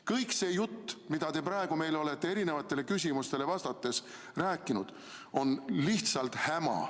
Kogu see jutt, mida te praegu meile olete küsimustele vastates rääkinud, on lihtsalt häma.